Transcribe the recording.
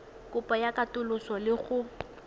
kopo ya katoloso le go